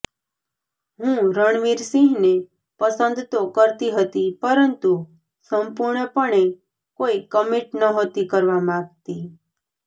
હું રણવીર સિંહને પસંદ તો કરતી હતી પરંતુ સંપૂર્ણપણે કોઈ કમિટ નહોતી કરવા માંગતી